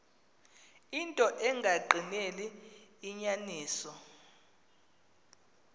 into engagqineli inyaniso